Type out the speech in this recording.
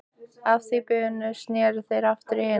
Að því búnu sneru þeir aftur til hinna.